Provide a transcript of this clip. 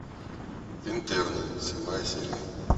интерны седьмая серия